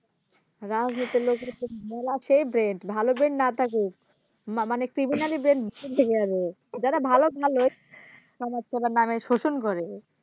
রাজনীতির লোকের সেই মেলা সেই Brain ভালো Brain না থাকুক মা মানে Criminaly brain উপর দিকে আরো যারা যারা ভালো ভালোই খারাপ তাদের নাম এ শোষণ করে